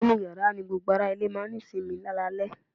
inú yàrá ní gbogbo ará ilé máà ń ní sinmi lálalẹ́